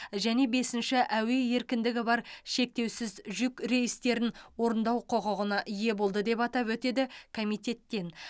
және бесінші әуе еркіндігі бар шектеусіз жүк рейстерін орындау құқығына ие болды деп атап өтеді комитеттен